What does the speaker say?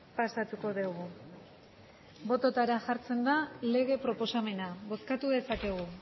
pasatuko dugu bototara jartzen da lege proposamena bozkatu dezakegu